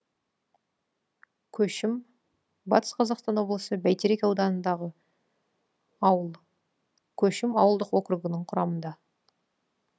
көшім батыс қазақстан облысы бәйтерек ауданындағы ауыл көшім ауылдық округі құрамында